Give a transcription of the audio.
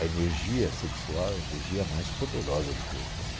A energia sexual é a energia mais poderosa do corpo, né?